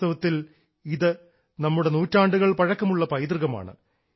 വാസ്തവത്തിൽ ഇത് നമ്മുടെ നൂറ്റാണ്ടുകൾ പഴക്കമുള്ള പൈതൃകമാണ്